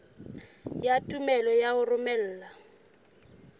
ya tumello ya ho romela